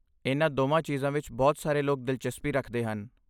ਇਨ੍ਹਾਂ ਦੋਵਾਂ ਚੀਜ਼ਾਂ ਵਿੱਚ ਬਹੁਤ ਸਾਰੇ ਲੋਕ ਦਿਲਚਸਪੀ ਰੱਖਦੇ ਹਨ।